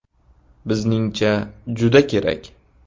Bizningcha, juda kerak.